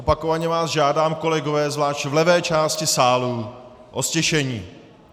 Opakovaně vás žádám, kolegové, zvlášť v levé části sálu, o ztišení.